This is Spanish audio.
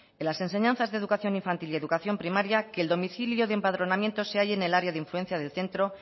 en las enseñanzas de educación infantil y educación privada que el domicilio de empadronamiento se halle en el área de influencia del centro